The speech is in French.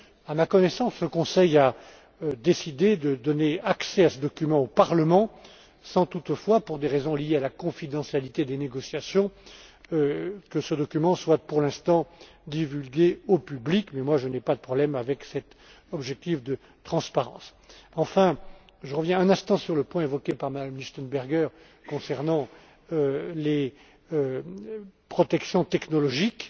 À ma connaissance, le Conseil a décidé de permettre l'accès du Parlement à ce document, sans toutefois, pour des raisons liées à la confidentialité des négociations, que celui ci soit, pour l'instant, divulgué au public. Je n'ai pas de problème avec cet objectif de transparence. Enfin, je reviens un instant sur le point évoqué par Mme Lichtenberger concernant les protections technologiques.